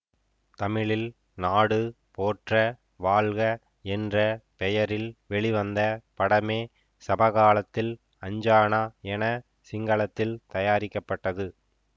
தமிழில் நாடு போற்ற வாழ்க என்ற பெயரில் வெளிவந்த படமே சமகாலத்தில் அஞ்சானா என சிங்களத்தில் தயாரிக்கப்பட்டது